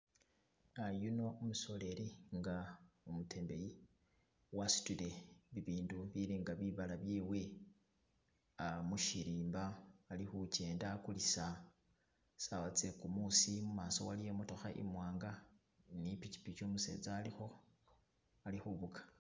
Yuno umusoleli inga umutembeyi wasudile bibindu bilinga bibala byewe mushirimba ali khujenda agulisa sawa tse gumuusi mumaso waliyo I'motokha imwanga ni pikipiki umusetsa alikho ali khufuga.